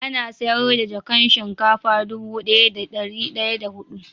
Ana sayar da jakan shinkafa dubu daya da dari daya da hidu